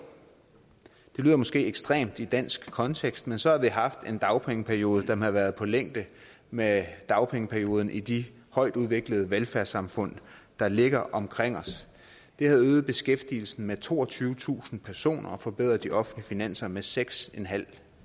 det lyder måske ekstremt i dansk kontekst men så havde vi haft en dagpengeperiode der havde været på længde med dagpengeperioden i de højtudviklede velfærdssamfund der ligger omkring os det havde øget beskæftigelsen med toogtyvetusind personer og forbedret de offentlige finanser med seks